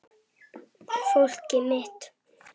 Fólkið mitt.